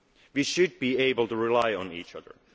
order. We should be able to rely on each